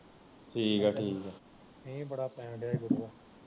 ਮੀਂਹ ਬੜਾ ਪੈਣ ਦਿਆਂ ਈ ਗੁਰੂਆਂ